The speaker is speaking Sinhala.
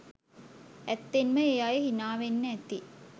අත්තෙන්ම ඒ අය හිනාවෙන්න ඇති